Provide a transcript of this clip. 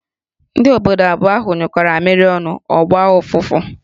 Ndị obodo abụọ ahụ nyụkọro mamịrị ọnụ, ọ gbaa ọfụfụ